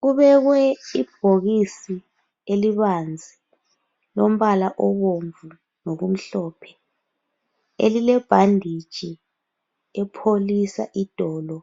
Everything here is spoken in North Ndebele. Kubekwe ibhokisi elibanzi elilombala obomvu lokumhlophe elilebhanditshi epholisa idolo